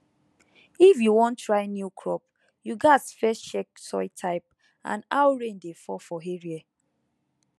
if you wan try new crop you gats first check soil type and how rain dey fall for area